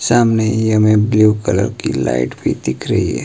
सामने ही हमें ब्लू कलर की लाइट भी दिख रही है।